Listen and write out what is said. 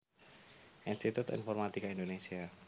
Institut Informatika Indonésia